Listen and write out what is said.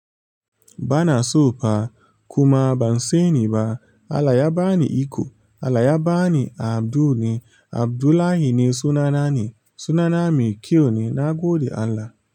Bana so fa kuma ban sani ba. Allah ya bani iko allah ya bani abdul ne abdullahi ne sunane sunana mai kyau ne nagode Allah.